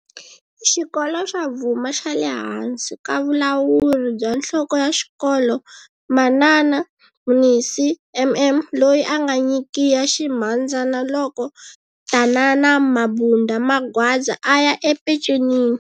Xikolo xa Bvuma xa le hansi ka vulawuri bya nhloko ya xikolo manana Mninsi MM loyi a anga nyikiya ximhandzana loko tanana Mabunda Magwaza aya epecenini.